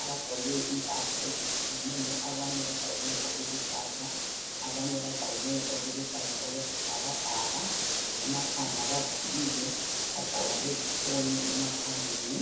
abagqoke impahla ezitshiyeneyo. Abanye bagqoke okuluhlaza, abanye bagqoke okuluhlaza okwesibhakabhaka, emakhanda bavalile, bagqoka lezifonyo emakhaleni.